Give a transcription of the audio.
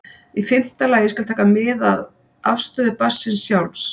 Í fimmta lagi skal taka mið af afstöðu barnsins sjálfs.